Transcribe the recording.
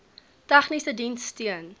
tegniese diens steun